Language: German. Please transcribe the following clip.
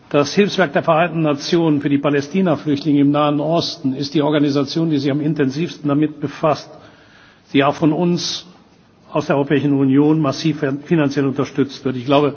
Das Hilfswerk der Vereinten Nationen für die Palästinaflüchtlinge im Nahen Osten ist die Organisation, die sich am intensivsten damit befasst, die auch von uns, aus der Europäischen Union, massiv finanziell unterstützt wird.